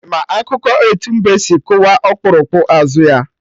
Ị ma akụkọ etu mbe si kụwa okpurukpu azụ ya?